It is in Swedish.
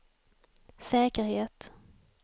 säkerhet